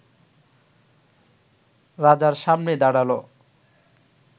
রাজার সামনে দাঁড়াল